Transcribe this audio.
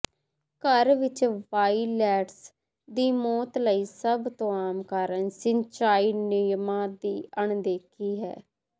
ਘਰ ਵਿੱਚ ਵਾਇਲੈਟਸ ਦੀ ਮੌਤ ਲਈ ਸਭ ਤੋਂ ਆਮ ਕਾਰਨ ਸਿੰਚਾਈ ਨਿਯਮਾਂ ਦੀ ਅਣਦੇਖੀ ਹੈ